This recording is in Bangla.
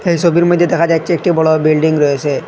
এই সবির মইধ্যে দেখা যাচ্ছে একটি বড়ো বিল্ডিং রয়েসে।